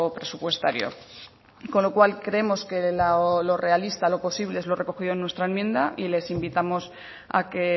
presupuestario con lo cual creemos que lo realista lo posible es lo recogido en nuestra enmienda y les invitamos a que